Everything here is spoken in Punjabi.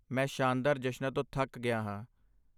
ਮੈਂ ਸ਼ਾਨਦਾਰ ਜਸ਼ਨਾਂ ਤੋਂ ਥੱਕ ਗਿਆ ਹਾਂ।